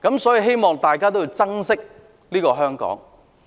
所以，希望大家能夠珍惜香港。